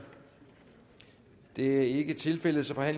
det er ikke tilfældet så er